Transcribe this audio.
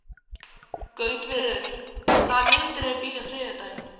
Gautviður, hvaða myndir eru í bíó á þriðjudaginn?